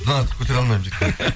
бұдан артық көтере алмаймын жігіттер